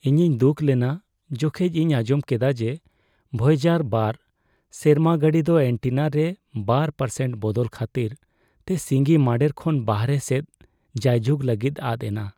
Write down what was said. ᱤᱧᱤᱧ ᱫᱩᱠ ᱞᱮᱱᱟ ᱡᱚᱠᱷᱮᱡ ᱤᱧ ᱟᱸᱡᱚᱢ ᱠᱮᱫᱟ ᱡᱮ ᱵᱷᱚᱭᱮᱡᱟᱨᱼ᱒ ᱥᱮᱨᱢᱟ ᱜᱟᱹᱰᱤ ᱫᱚ ᱮᱹᱱᱴᱮᱱᱟ ᱨᱮ ᱒% ᱵᱚᱫᱚᱞ ᱠᱷᱟᱹᱛᱤᱨ ᱛᱮ ᱥᱤᱸᱜᱤ ᱢᱟᱺᱰᱮᱨ ᱠᱷᱚᱱ ᱵᱟᱦᱨᱮ ᱥᱮᱫ ᱡᱟᱭ ᱡᱩᱜᱽ ᱞᱟᱹᱜᱤᱫ ᱟᱫ ᱮᱱᱟ ᱾